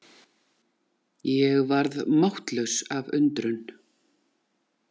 Ég varð máttlaus af undrun.